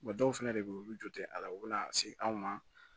dɔw fɛnɛ de be yen olu jɔ te a la u be na se anw ma